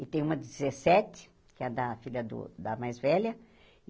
E tem uma de dezessete, que é a da filha do da mais velha.